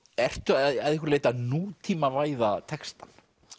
ertu að einhverju leyti að nútímavæða textann